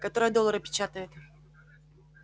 которая доллары печатает